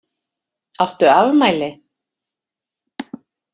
Áttu afmæli?